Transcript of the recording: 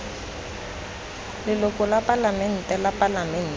leloko la palamente la palamente